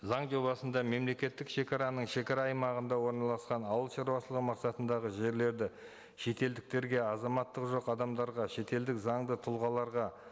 заң жобасында мемлекеттік шегараның шегара аймағында орналасқан ауылшаруашылығы мақсатындағы жерлерді шетелдіктерге азаматтығы жоқ адамдарға шетелдік заңды тұлғаларға